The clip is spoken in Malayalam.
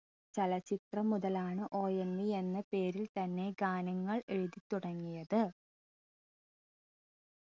ചലച്ചിത്രം മുതലാണ് ONV എന്ന പേരിൽ തന്നെ ഗാനങ്ങൾ എഴുതി തുടങ്ങിയത്